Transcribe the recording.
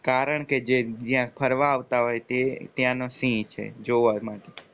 કારણ કે જે જ્યાં ફરવા આવતા હોય છે તે ત્યાં ના સિંહ છે જોવા માટે